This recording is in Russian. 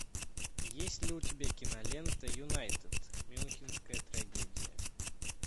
есть ли у тебя кинолента юнайтед мюнхенская трагедия